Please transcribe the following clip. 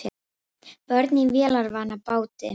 Börn í vélarvana báti